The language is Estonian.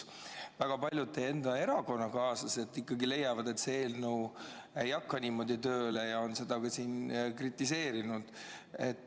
Väga paljud teie enda erakonnakaaslased leiavad, et see eelnõu ei hakka niimoodi tööle, ja on seda siin kritiseerinud.